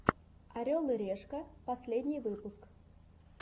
орел и решка последний выпуск